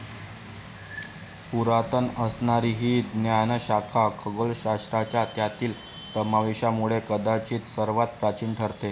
पुरातन असणारी ही ज्ञानशाखा खगोलशास्त्राच्या त्यातील समावेशामुळे कदाचित सर्वात प्राचीन ठरते.